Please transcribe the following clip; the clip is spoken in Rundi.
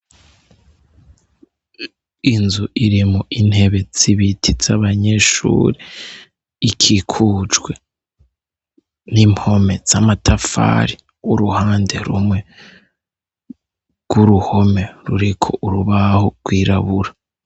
Inzu irimwo intebe z'ibiti zabanyeshuri ikikujwe n'impome z'amatafari uruhande rumwe rw'uruhome ruriko urubaho rwirabura.